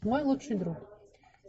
мой лучший друг